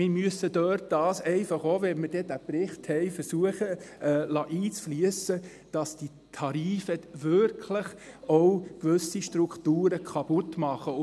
Wir müssen versuchen – auch, wenn wir dann den Bericht haben –, dort einfliessen zu lassen, dass diese Tarife wirklich auch gewisse Strukturen kaputtmachen.